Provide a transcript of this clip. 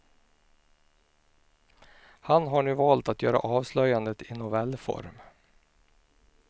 Han har nu valt att göra avslöjandet i novellform.